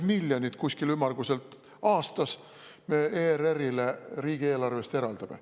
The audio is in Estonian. Ümmarguselt 60 miljonit eurot aastas me ERR-ile riigieelarvest eraldame.